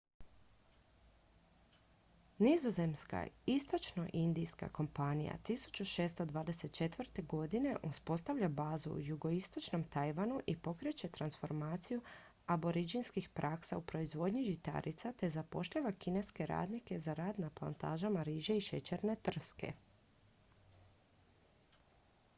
nizozemska istočnoindijska kompanija 1624. godine uspostavlja bazu u jugoistočnom tajvanu i pokreće transformaciju aboridžinskih praksa u proizvodnji žitarica te zapošljava kineske radnike za rad na plantažama riže i šećerne trske